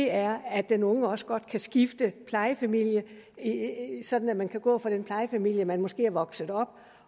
er at den unge nu også godt kan skifte plejefamilie sådan at man kan gå fra den plejefamilie hvor man måske er vokset op